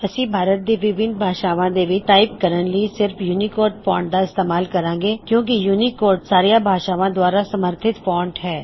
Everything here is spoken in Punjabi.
ਅਸੀ ਭਾਰਤ ਦੀ ਵਿਭਿੱਨ ਭਾਸ਼ਾਵਾਂ ਦੇ ਵਿੱਚ ਟਾਇਪ ਕਰਨ ਲਈ ਸਿਰ੍ਫ ਯੂਨਿਕੋਡ ਫ਼ੌਨਟ ਦਾ ਇਸਤੇਮਾਲ ਕਰਾਂ ਗੇ ਕਿਉਂ ਕੀ ਯੂਨਿਕੋਡ ਸਾਰਿਆ ਭਾਸ਼ਾਵਾਂ ਦੁਆਰਾ ਸਮਰਥਿਤ ਫੌਂਟ ਹੈ